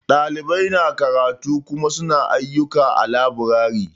Ɗalibai na karatu Kuma su na ayyuka a laburare.